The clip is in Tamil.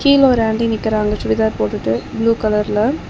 கீழ ஒரு ஆன்ட்டி நிக்கிறாங்க சுடிதார் போட்டுட்டு ப்ளூ கலர்ல .